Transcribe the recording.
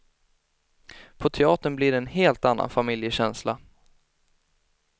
På teatern blir det en helt annan familjekänsla.